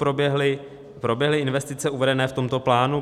Proběhly investice uvedené v tomto plánu?